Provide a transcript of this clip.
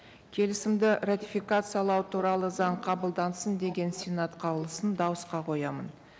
келісімді ратификациялау туралы заң қабылдансын деген сенат қаулысын дауысқа қоямын